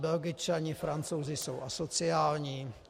Belgičani, Francouzi jsou asociální?